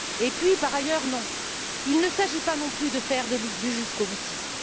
Puis, par ailleurs, non, il ne s'agit pas, non plus, de faire du jusqu'au boutisme.